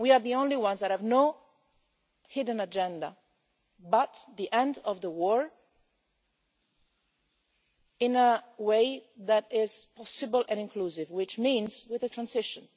We are the only ones that have no hidden agenda other than the end of the war in a way that is possible and inclusive, which means with a transition.